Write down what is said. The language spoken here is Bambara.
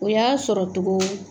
O y'a sɔrɔ cogo